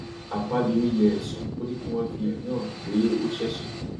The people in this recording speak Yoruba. akpabio yẹ ẹsùn ó ní kí wọn fi ẹrí hàn pé ó ṣẹṣẹ